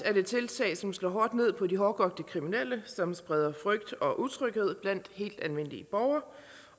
er det tiltag som slår hårdt ned på de hårdkogte kriminelle som spreder frygt og utryghed blandt helt almindelige borgere